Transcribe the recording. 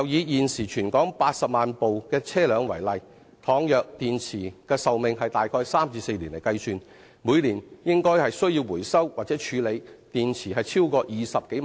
現時，全港約有80萬輛汽車，以電池的壽命大約為3年至4年計算，每年應該需要回收或處理的電池超過20萬枚。